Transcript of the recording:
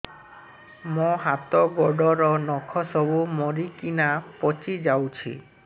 ମୋ ହାତ ଗୋଡର ନଖ ସବୁ ମରିକିନା ପଚି ଯାଉଛି